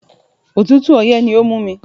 Òtútù ọyẹ́ ni ó mú mi.